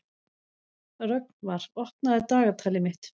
Rögnvar, opnaðu dagatalið mitt.